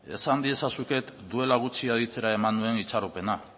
esan diezazuket duela gutxi aditzera eman nuen itxaropena